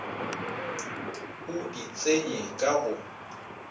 o di tsenye ka go